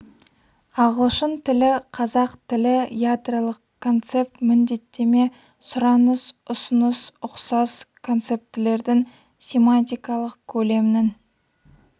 ағылшын тілі қазақ тілі ядролық концепт міндеттеме сұраныс ұсыныс ұқсас концептілердің семантикалық көлемнің